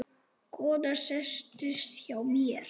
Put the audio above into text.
Konan settist hjá mér.